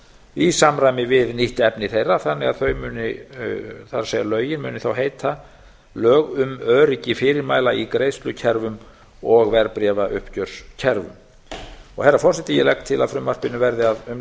í samræmi við nýtt efni þeirra þannig að þau muni það er lögin muni þá heita lög um öryggi fyrirmæla í greiðslukerfum og verðbréfauppgjörskerfum herra forseti ég legg til að frumvarpinu verði að